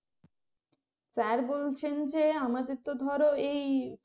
sir বলছেন যে আমাদের যত ধরো এই